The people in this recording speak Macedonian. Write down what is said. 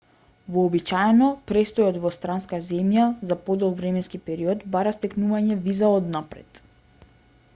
вообичаено престојот во странска земја за подолг временски период бара стекнување виза однапред